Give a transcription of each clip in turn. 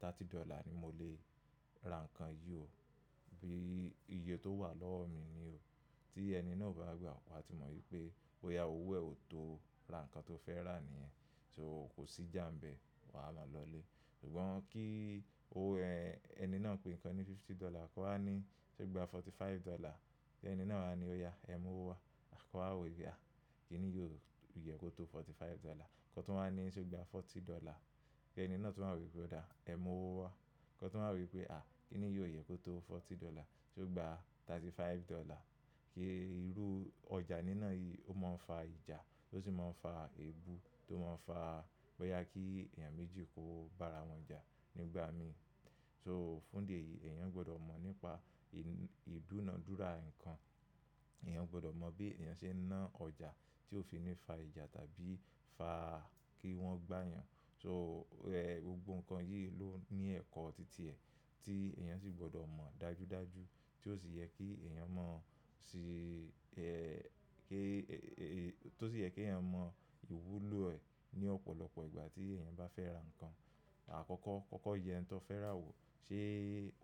thirty dollar ni mo lè ra ǹkan yìí o. Bí iye tó wà lọ́wọ́ mi ni o. Tí ẹni náà o bá gbà, wa ti mọ̀ wípé bọ̀yà owó ẹ ò tó ra ǹkan tó fẹ́ rà ní yen. So kò sí ìjà ńbẹ. Ma máa lọlé. Ṣùgbọ́n kí ẹni náà pé ǹkan ní fifty dollar, ko wá ní ṣe ó gba forty five dollar. Ẹni náà á ní ọ̀yà ẹ mú owó wá. Ko wa wo boya, à kí ni yi ò yẹ kó tó forty five dollar. Ko tún wá ní ṣe ó gba forty dollar. Ẹni náà tún wá wo wípé, odá ẹ mú owó wá. Ko tún wa ro wí pé, aà kí ni yi ò yẹ kó tó forty dollar. Ṣe ó gba thirty five dollar. Ki irú ọjà nínà yìí ó máa ń fa ìjà ó sì máa ń fa èébú tó máa ń fa boyá kí èeyàn méjì kiwon bá ara wọn jà nígbà mìíràn. So fún di èyí, ènìyàn gbọ́dọ̀ mọ̀ nípa ìdúnadúrà ǹkan. Ẹ̀nìyàn gbọ́dọ̀ mọ̀ bí ènìyàn ṣe ń ná ọjà tí ó fi ní fa ìjà tàbí fa kí wọ́n gbá ènìyàn. So gbogbo ǹkan yìí ló ní ẹ̀kọ́ títí ẹ̀ tí ènìyàn sì gbọ́dọ̀ mọ̀ dájúdájú tí ó sì yẹ kí èeyàn mọ̀ sí kí tí ó sì yẹ kí èeyàn mọ ìwúlò ẹ̀ ní ọ̀pọ̀lọpọ̀ ìgbà tí ènìyàn bá fẹ́ ra ǹkan. Àkọ́kọ́ kọ́kọ́ yẹ oun tó fẹ́ rà wò, ṣe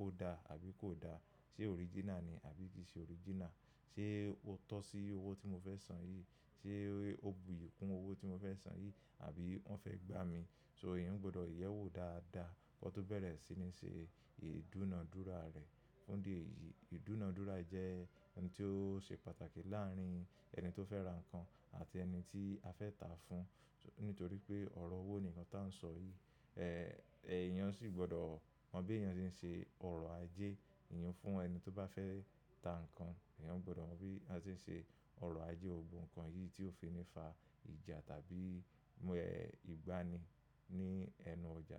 ó dá àbí kò da? Ṣé original ni àbí kì í ṣe original? Ṣé ó tọ́ sí owó tí mo fẹ́ san yìí? Ṣé ó buyì kún owó tí mo fẹ́ san yìí àbí wọ́n fẹ́ gbá mi? So èeyàn gbọ́dọ̀ yẹ̀ wò dáadáa kó tó bẹ̀rẹ̀ sí ní ṣe ìdúnadúrà rẹ̀. Fún di èyí, ìdúnadúrà jẹ́ ohun tí ó ṣe pàtàkì láàrin ẹni tó fẹ́ ra ǹkan àti ẹni tí a fẹ́ tà fún. Nítorí pé ọ̀rọ̀ owó nìkan tá ń sọ yìí. Ẹ̀eyàn sì gbọ́dọ̀ mọ bí èeyàn ṣe ń ṣe ọ̀rọ̀ ajé. Ẹ̀eyàn fún ẹni tí ó bá fẹ́ tà ǹkan, èeyàn gbọ́dọ̀ mọ̀ bí a ṣe ń ṣe ọ̀rọ̀ ajé gbogbo ǹkan yìí tí ó fi ní fa ìjà tàbí ìgbani ní ẹnu ọjà.